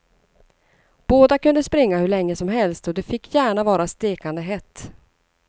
Båda kunde springa hur länge som helst och det fick gärna vara stekande hett.